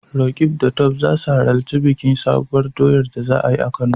Roqeeb da Tope za su halarci bikin Sabuwar doyar da za a yi a Kano.